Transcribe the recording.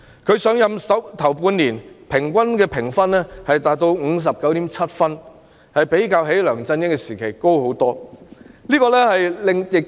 她上任首半年的評分平均達到 59.7 分，遠高於梁振英時期的得分。